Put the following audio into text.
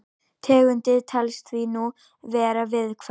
Tegundin telst því nú vera viðkvæm.